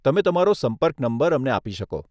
તમે તમારો સંપર્ક નંબર અમને આપી શકો.